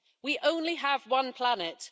We only have one planet.